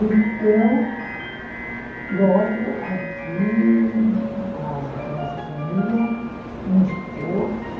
Então, logo aqui, a nossa família indicou que...